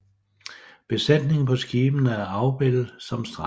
Besætningen på skibene er afbildet som streger